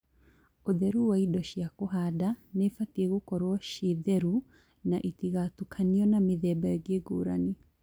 ũtheru wa indo. Indo cia kũhanda nĩibatie gũkorwo ciĩ theru na itigatũkanio na mĩthemba ĩngĩ ngũrani